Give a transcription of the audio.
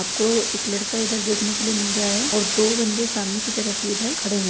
आपको इक लड़का इधर देखने के लिए मिल रहा है और दो बन्दे सामने की तरफ इधर खड़े हैं।